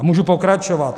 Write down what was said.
A můžu pokračovat.